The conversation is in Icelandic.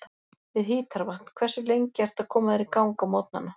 við hítarvatn Hversu lengi ertu að koma þér í gang á morgnanna?